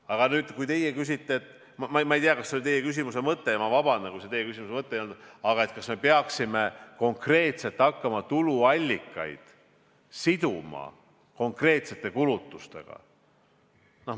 Aga teie küsite – ma ei tea, kas see oli teie küsimuse mõte, vabandust, kui see teie küsimuse mõte ei olnud –, kas me peaksime hakkama tuluallikaid siduma konkreetsete kulutustega.